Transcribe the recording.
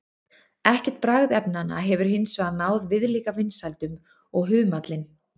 Ekkert bragðefnanna hefur hins vegar náð viðlíka vinsældum og humallinn.